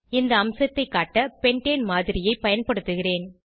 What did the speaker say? இந்த அம்சத்தை காட்ட பென்டேன் மாதிரியை பயன்படுத்துகிறேன்